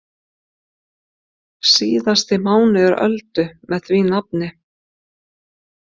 Síðasti mánuður Öldu með því nafni.